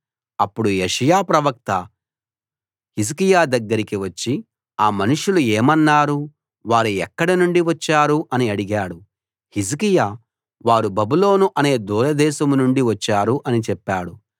అప్పుడు యెషయా ప్రవక్త హిజ్కియా దగ్గరికి వచ్చి ఆ మనుషులు ఏమన్నారు వారు ఎక్కడ నుండి వచ్చారు అని అడిగాడు హిజ్కియా వారు బబులోను అనే దూరదేశం నుంచి వచ్చారు అని చెప్పాడు